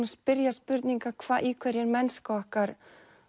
spyrja spurninga í hverju er mennska okkar